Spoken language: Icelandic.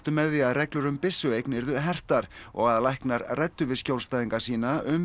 með því að reglur um byssueign yrðu hertar og að læknar ræddu við skjólstæðinga sína um